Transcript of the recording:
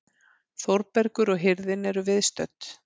Þórbergur og hirðin eru viðstödd.